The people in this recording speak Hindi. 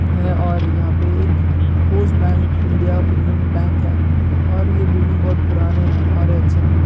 है और यहां पे एक post bank India payments bank है और ये बिल्डिंग बहुत पुराने और अच्छे है।